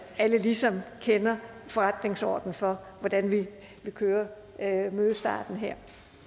alle ligesom kender forretningsordenen for hvordan vi vil køre mødestarten her